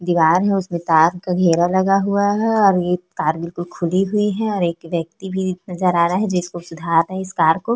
दीवार है उसमें तार का घेरा लगा हुआ है और एक तार बिल्कुल खुली हुई है और एक व्यक्ति भी नज़र आ रहा है जिसको सुधार रहा है इस तार को--